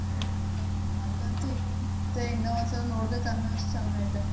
ಅದನ್ತೂ ಮತ್ತೆ ಇನ್ನೂ ಒಂದ್ಸಲ ನೋಡ್ಬೇಕ್ ಅನ್ನೋ ಅಷ್ಟ ಚೆನ್ನಾಗೈತೆ.